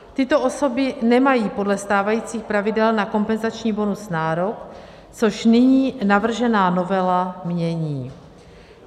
Tyto osoby nemají podle stávajících pravidel na kompenzační bonus nárok, což nyní navržená novela mění.